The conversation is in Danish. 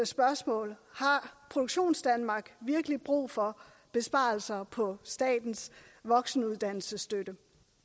spørgsmål har produktionsdanmark virkelig brug for besparelser på statens voksenuddannelsesstøtte